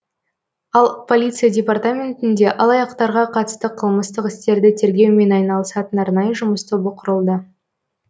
ал полиция департаментінде алаяқтарға қатысты қылмыстық істерді тергеумен айналысатын арнайы жұмыс тобы құрылды